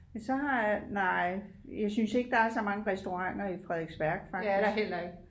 Men så har nej jeg synes ikke der er så mange restauranter i Frederiksværk faktisk